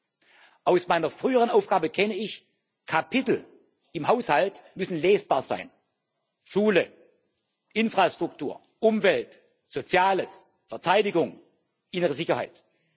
3. Aus meiner früheren Aufgabe kenne ich Kapitel im Haushalt müssen lesbar sein Schule, Infrastruktur, Umwelt, Soziales, Verteidigung, innere Sicherheit.